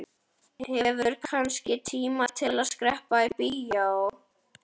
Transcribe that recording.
Hefurðu kannski tíma til að skreppa í bíó?